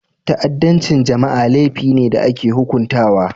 Ta'addancin jama'a laifi ne da ake hukuntawa.